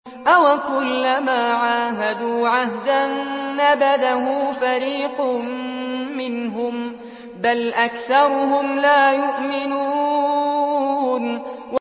أَوَكُلَّمَا عَاهَدُوا عَهْدًا نَّبَذَهُ فَرِيقٌ مِّنْهُم ۚ بَلْ أَكْثَرُهُمْ لَا يُؤْمِنُونَ